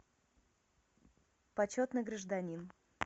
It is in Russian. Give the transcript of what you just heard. почетный гражданин